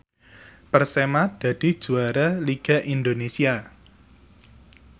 Persema dadi juara liga Indonesia